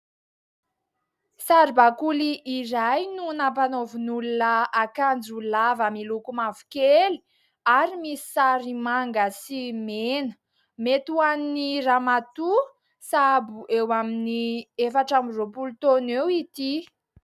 Saribakoly iray no nampanaovin'olona akanjo lava miloko mavokely ary misy sary manga sy mena. Mety ho an'ny ramatoa sahabo eo amin'ny efatra amby roapolo taona eo ity.